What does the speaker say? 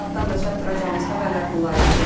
Bu saatdan da çatdıracağımız xəbərlər bunlar idi.